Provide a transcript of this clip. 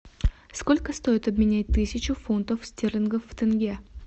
сколько стоит обменять тысячу фунтов стерлингов в тенге